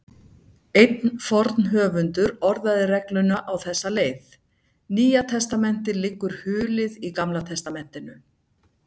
Einn forn höfundur orðaði regluna á þessa leið: Nýja testamentið liggur hulið í Gamla testamentinu.